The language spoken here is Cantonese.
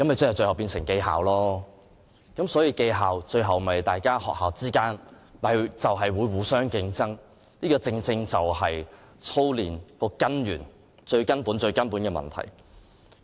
這樣便變相是記校，最後又變成學校之間互相競爭，這正正是操練的根源，是最根本的問題。